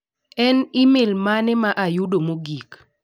En imel mane ma ayudo mogik?